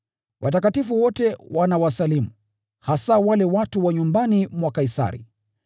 Watakatifu wote wanawasalimu, hasa wale watu wa nyumbani mwa Kaisari.